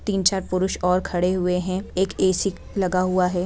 तीन-चार पुरुष और खड़े हुए हैं एक ए_सी लगा हुआ है।